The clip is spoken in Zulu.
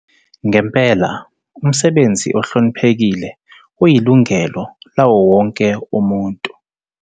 Ngempela, umsebenzi ohloniphekile uyilungelo lawowonke umuntu.